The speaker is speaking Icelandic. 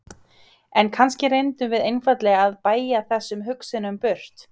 En kannski reyndum við einfaldlega að bægja þessum hugsunum burt.